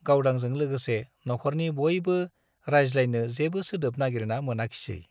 गावदांजों लोगोसे नख'रनि बयबो रायज्लायनो जेबो सोदोब नाइगिरना मोनाखिसै ।